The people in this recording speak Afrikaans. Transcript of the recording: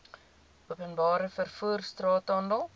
openbare vervoer straathandel